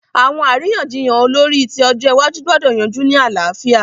Àwọn àríyànjiyàn olórí ti ọjọ́ iwájú gbọ́dọ̀ yanjú ní àlàáfíà.